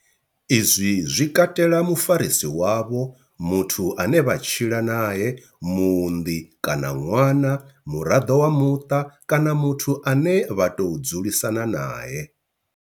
Izwi zwi katela mufarisi wavho, muthu ane vha tshila nae, muunḓi kana ṅwana, muraḓo wa muṱa kana muthu ane vha tou dzulisana nae.